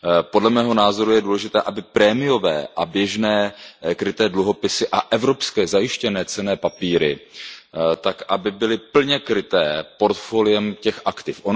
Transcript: Podle mého názoru je důležité, aby prémiové a běžné kryté dluhopisy a evropské zajištěné cenné papíry byly plně kryté portfoliem těch aktiv.